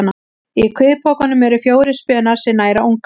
Í kviðpokanum eru fjórir spenar sem næra ungann.